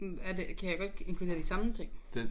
Hm er det kan jeg godt inkludere de samme ting